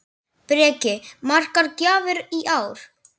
Breki: Margar gjafir í ár?